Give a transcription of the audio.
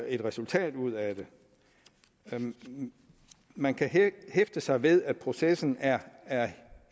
et resultat ud af det man kan hæfte sig ved at processen er